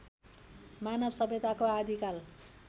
मानव सभ्यताको आदिकाल